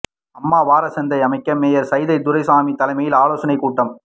அம்மா வாரச்சந்தை அமைக்க மேயர் சைதை துரைசாமி தலைமையில் ஆலோசனை கூட்டம்